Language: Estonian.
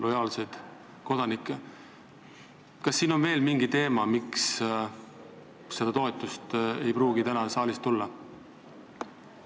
Kas siin on mängus veel mingi teema, miks seda toetust ei pruugi täna saalist tulla?